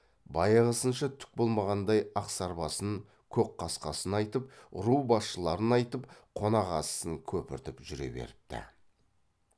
баяғысынша түк болмағандай ақсарбасын көкқасқасын айтып ру басшыларын айтып қонақасысын көпіртіп жүре беріпті